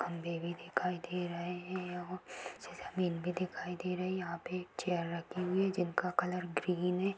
खंबे भी दिखाई दे रहे हैं यहाँ से जमीन भी दिखाई दे रही है | यहाँ पे चेयर रखी हुई है जिनका कलर ग्रीन है।